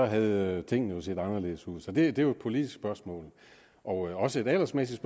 havde tingene jo set anderledes ud så det er jo et politisk spørgsmål og også et aldersmæssigt